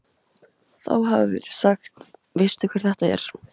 Þá hafi verið sagt: Veistu hver þetta er?